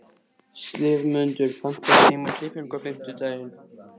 slefmundur, pantaðu tíma í klippingu á fimmtudaginn.